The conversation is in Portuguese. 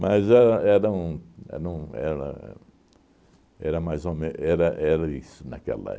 Mas é era um é num era era... Era mais ou me era era isso naquela